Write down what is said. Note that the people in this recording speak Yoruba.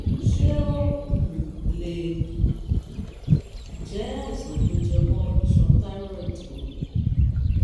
ṣé ó um lè jẹ́ àìsàn tó jẹmọ́ iṣan thyroid ni?